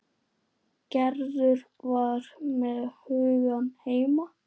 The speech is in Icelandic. Gerður var með hugann heima.